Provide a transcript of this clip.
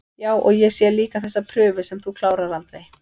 Já, og ég sé líka þessa prufu sem þú klárar aldrei